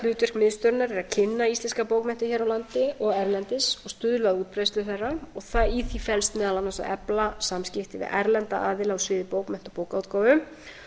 miðstöðvarinnar er að kynna íslenskar bókmenntir hér á landi og erlendis og stuðla að útbreiðslu þeirra í því felst meðal annars að efla samskipti við erlenda aðila á sviði bókmennta og bókaútgáfu